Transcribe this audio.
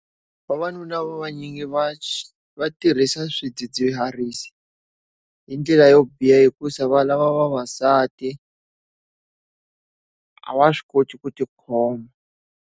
Vavanuna va va nyingi va va tirhisa swidzidziharisi hi ndlela yo biha hikusa va lava vavasati a va swi koti ku ti khoma.